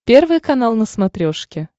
первый канал на смотрешке